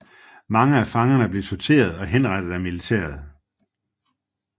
Mange af fangerne blev torteret og henrettet af militæret